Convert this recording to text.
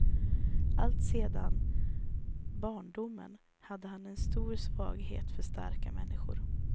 Alltsedan barndomen hade han en stor svaghet för starka människor.